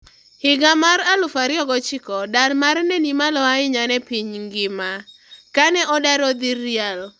Higa mar 2009,dar mare ne ni malo ahinya ne piny ngima, kane odar odhi Real.